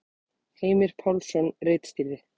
Heimir Pálsson ritstýrði.